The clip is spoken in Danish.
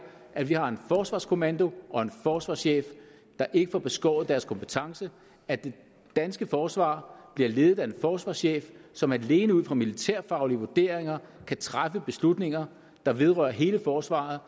at vi har en forsvarskommando og en forsvarschef der ikke får beskåret deres kompetence at det danske forsvar bliver ledet af en forsvarschef som alene ud fra militærfaglige vurderinger kan træffe beslutninger der vedrører hele forsvaret